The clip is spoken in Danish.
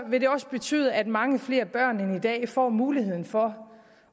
vil det også betyde at mange flere børn end i dag får muligheden for